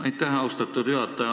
Aitäh, austatud juhataja!